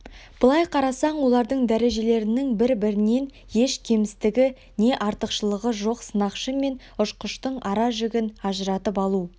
былай қарасаң олардың дәрежелерінің бір-бірінен еш кемістігі не артықшылығы жоқ сынақшы мен ұшқыштың ара-жігін ажыратып алу